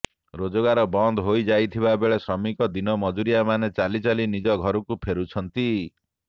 ରୋଜଗାର ବନ୍ଦ ହୋଇ ଯାଇଥିବା ବେଳେ ଶ୍ରମିକ ଦିନ ମଜୁରିଆମାନେ ଚାଲିଚାଲି ନିଜ ଘରକୁ ଫେରୁଛନ୍ତି